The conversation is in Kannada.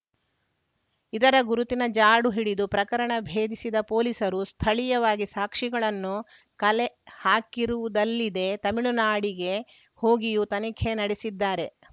ಇದರ ಗುರುತಿನ ಜಾಡು ಹಿಡಿದು ಪ್ರಕರಣ ಭೇದಿಸಿದ ಪೊಲೀಸರು ಸ್ಥಳೀಯವಾಗಿ ಸಾಕ್ಷಿಗಳನ್ನು ಕಲೆ ಹಾಕಿರುವುದಲ್ಲಿದೆ ತಮಿಳುನಾಡಿಗೆ ಹೋಗಿಯೂ ತನಿಖೆ ನಡೆಸಿದ್ದಾರೆ